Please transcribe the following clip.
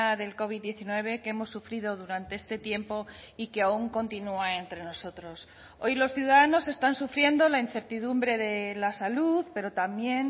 del covid diecinueve que hemos sufrido durante este tiempo y que aún continúa entre nosotros hoy los ciudadanos están sufriendo la incertidumbre de la salud pero también